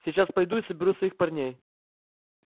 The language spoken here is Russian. сейчас пойду и соберу своих парней